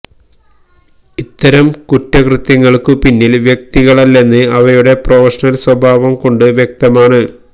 ഇത്തരം കുറ്റകൃത്യങ്ങള്ക്കു പിന്നില് വ്യക്തികളല്ലെന്ന് അവയുടെ പ്രൊഫഷണല് സ്വഭാവം കൊണ്ട് വ്യക്തമാണ്